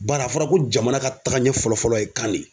Bari a fɔra ko jamana ka taga ɲɛ fɔlɔ fɔlɔ ye kan de ye